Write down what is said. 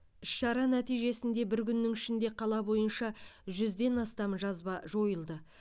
іс шара нәтижесінде бір күннің ішінде қала бойынша жүзден астам жазба жойылды